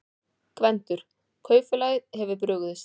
GVENDUR: Kaupfélagið hefur brugðist.